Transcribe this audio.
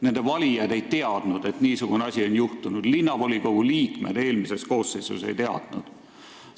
Nende valijad ei teadnud, et niisugune asi on juhtunud, ka linnavolikogu eelmise koosseisu liikmed ei teadnud seda.